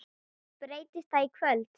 Breytist það í kvöld?